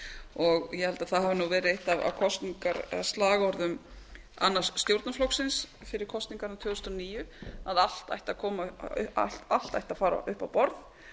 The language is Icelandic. og ég held að það hafi verið eitt af kosningaslagorðum annars stjórnarflokksins fyrir kosningarnar tvö þúsund og níu að allt ætti að fara upp á borð